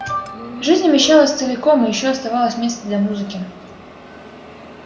жизнь умещалась целиком и ещё оставалось место для музыки